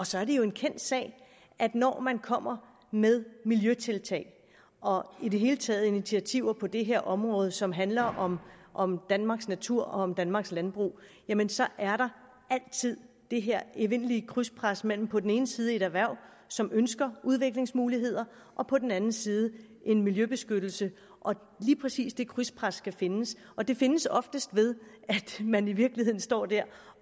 så er det jo en kendt sag at når man kommer med miljøtiltag og i det hele taget initiativer på det her område som handler om om danmarks natur og om danmarks landbrug jamen så er der altid det her evindelige krydspres mellem på den ene side et erhverv som ønsker udviklingsmuligheder og på den anden side en miljøbeskyttelse og lige præcis det krydspres skal findes og det findes ofte ved at man i virkeligheden